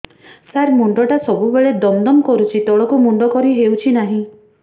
ସାର ମୁଣ୍ଡ ଟା ସବୁ ବେଳେ ଦମ ଦମ କରୁଛି ତଳକୁ ମୁଣ୍ଡ କରି ହେଉଛି ନାହିଁ